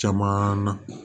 Caman na